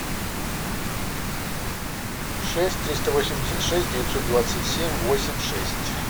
шесть триста восемьдесят шесть девятьсот двадцать семь восемь шесть